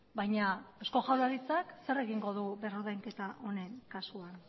baina eusko jaurlaritzak zer egingo du berrordainketa onen kasuan